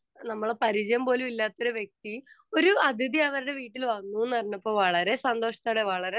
speaker 2 നമ്മള് പരിചയം പോലുമില്ലാത്ത ഒരു വ്യക്തി ഒരു അതിഥി അവരുടെ വീട്ടിൽ വന്നു എന്നറിഞ്ഞപ്പോൾ വളരെ സന്തോഷത്തോടെ വളരെ